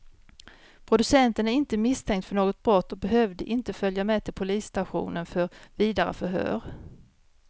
Producenten är inte misstänkt för något brott och behövde inte följa med till polisstationen för vidare förhör.